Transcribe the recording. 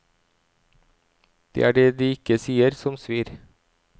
Det er det de ikke sier, som svir.